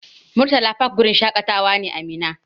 Murtala fak wurin shaƙatawa ne a Minna.